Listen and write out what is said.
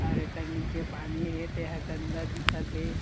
और एकर नीचे पानी हे तेहा गन्दा दिखत हे।